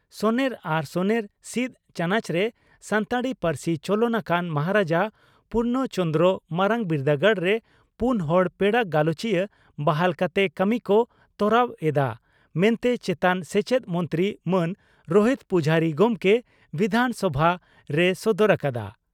ᱥᱚᱱᱮᱨ ᱟᱨ ᱥᱚᱱᱮᱨ ᱥᱤᱫ ᱪᱟᱱᱚᱪᱨᱮ ᱥᱟᱱᱛᱟᱲᱤ ᱯᱟᱹᱨᱥᱤ ᱪᱚᱞᱚᱱ ᱟᱠᱟᱱ ᱢᱟᱦᱟᱨᱟᱡᱟ ᱯᱩᱨᱱᱚ ᱪᱚᱱᱫᱽᱨᱚ ᱢᱟᱨᱟᱝ ᱵᱤᱨᱫᱟᱹᱜᱟᱲ ᱨᱮ ᱯᱩᱱ ᱦᱚᱲ ᱯᱮᱲᱟ ᱜᱟᱞᱚᱪᱤᱭᱟᱹ ᱵᱟᱦᱟᱞ ᱠᱟᱛᱮ ᱠᱟᱹᱢᱤ ᱠᱚ ᱛᱚᱨᱟᱣ ᱮᱫᱼᱟ ᱢᱮᱱᱛᱮ ᱪᱮᱛᱟᱱ ᱥᱮᱪᱮᱫ ᱢᱚᱱᱛᱨᱤ ᱢᱟᱱ ᱨᱳᱦᱤᱛ ᱯᱩᱡᱷᱟᱨᱤ ᱜᱚᱢᱠᱮ ᱵᱤᱫᱷᱟᱱᱥᱚᱵᱷᱟ ᱨᱮᱭ ᱥᱚᱫᱚᱨ ᱟᱠᱟᱫᱼᱟ ᱾